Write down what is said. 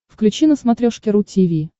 включи на смотрешке ру ти ви